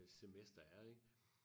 Et semester er ik